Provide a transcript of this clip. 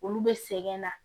Olu bɛ sɛgɛn na